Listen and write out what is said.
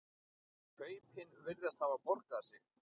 Kaupin virðast hafa borgað sig.